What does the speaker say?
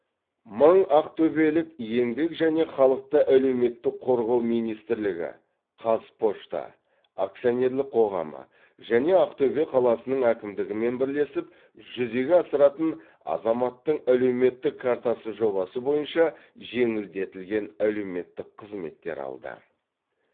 мың ақтөбелік еңбек және халықты әлеуметтік қорғау министрлігі қазпочта акционерлік қоғамы және ақтөбе қаласының әкімдігімен бірлесіп жүзеге асыратын азаматтың әлеуметтік картасы жобасы бойынша жеңілдетілген әлеуметтік қызметтер алды